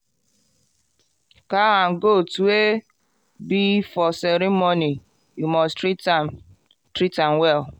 cow and goat wey be for ceremony you must treat am treat am well